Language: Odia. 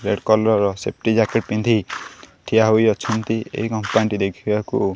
ରେଡ୍ କଲର୍ ର ସେଫ୍ଟି ଜ୍ୟାକେଟ ପିନ୍ଧି ଠିଆ ହୋଇଅଛନ୍ତି ଏଇ କମ୍ପାନୀ ଟି ଦେଖିବାକୁ--